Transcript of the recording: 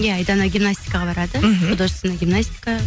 иә айдана гимнастикаға барады мхм художественная гимнастика